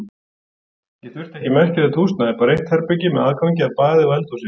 Ég þurfti ekki merkilegt húsnæði, bara eitt herbergi með aðgangi að baði og eldhúsi.